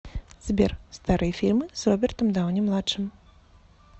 сбер старые фильмы с робертом дауни младшим